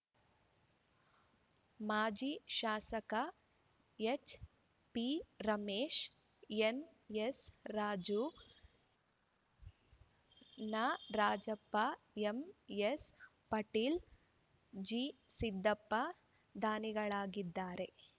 ಮಾಜಿ ಶಾಸಕ ಹೆಚ್‌ಪಿರಾಜೇಶ್‌ ಎನ್‌ಎಸ್‌ರಾಜು ನಾರಾಜಪ್ಪಎಂಎಸ್‌ಪಾಟೀಲ್‌ಜಿಸಿದ್ದಪ್ಪ ದಾನಿಗಳಾಗಿದ್ದಾರೆ